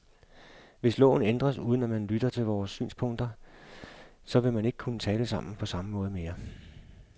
Hvis loven ændres, uden at man lytter til vores synspunkter, så vil vi ikke kunne tale sammen på samme måde mere.